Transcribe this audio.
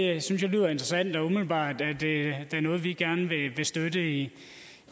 jeg synes det lyder interessant og umiddelbart er det da noget vi gerne vil støtte i